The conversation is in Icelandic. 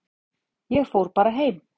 Ég fór bara heim.